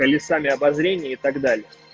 колёсами обозрения и так далее